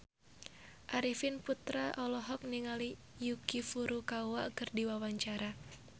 Arifin Putra olohok ningali Yuki Furukawa keur diwawancara